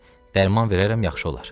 Dərman verərəm, yaxşı olar.